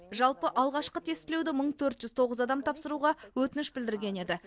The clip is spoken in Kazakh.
жалпы алғашқы тестілеуді мың төрт жүз тоғыз адам тапсыруға өтініш білдірген еді